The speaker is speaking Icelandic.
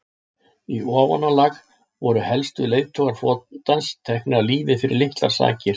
í ofanálag voru helstu leiðtogar flotans teknir af lífi fyrir litlar sakir